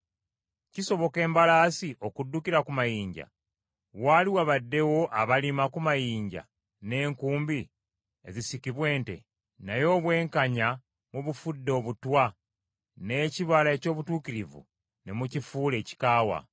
Kisoboka embalaasi okuddukira ku mayinja? Waali wabaddewo abalima ku mayinja n’enkumbi ezisikibwa ente? Naye obwenkanya mubufudde obutwa n’ekibala eky’obutuukirivu ne mukifuula ekikaawa.